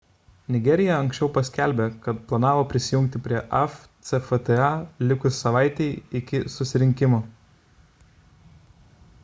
nigerija anksčiau paskelbė kad planavo prisijungti prie afcfta likus savaitei iki susirinkimo